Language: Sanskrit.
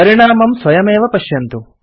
परिणामं स्वयमेव पश्यन्तु